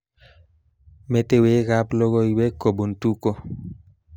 Metewekab logoiwek kobun Tuko